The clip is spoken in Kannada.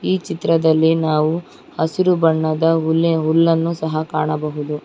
ಈ ಚಿತ್ರದಲ್ಲಿ ನಾವು ಹಸಿರು ಬಣ್ಣದ ಹುಲ್ಲ ಹುಲ್ಲನ್ನು ಸಹ ಕಾಣಬಹುದು.